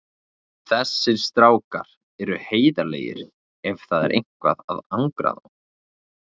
Þessir strákar eru heiðarlegir ef það er eitthvað að angra þá.